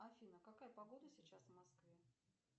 афина какая погода сейчас в москве